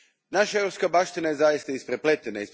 Naša europska baština zaista je isprepletena.